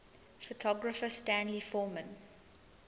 photographer stanley forman